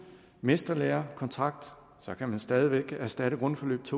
mesterlærekontrakt så kan man stadig væk erstatte grundforløbets